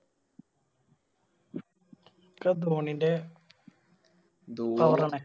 ഒക്കെ ധോണിൻറെ ആണ്